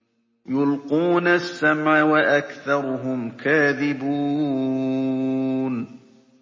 يُلْقُونَ السَّمْعَ وَأَكْثَرُهُمْ كَاذِبُونَ